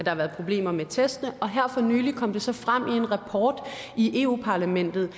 har været problemer med testene her for nylig kom det så frem i en rapport i europa parlamentet